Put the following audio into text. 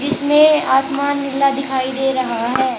इसमें आसमान नीला दिखाई दे रहा है।